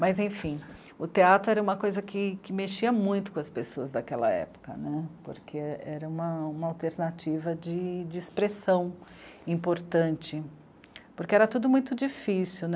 Mas, enfim, o teatro era uma coisa que, que mexia muito com as pessoas daquela época, né, porque era uma... uma alternativa de... de expressão importante, porque era tudo muito difícil, né?